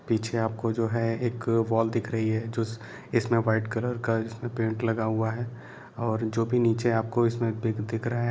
पीछे आपको जो है एक वॉल दिख रही है जो जिसमे व्हाइट कलर का जिसमे पेईन्ट लगा हुआ है और जो भी नीचे आपको इसमे बिग दिख रहा है।